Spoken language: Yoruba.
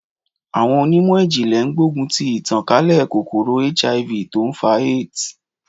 Àwọn onímọ̀ ìjìnlè ń gbógun ti ìtàn kálẹ̀ kòkòrò HIV tó ń fa AIDS.